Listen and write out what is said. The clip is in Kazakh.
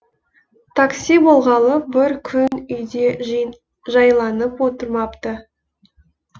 такси болғалы бір күн үйде жайланып отырмапты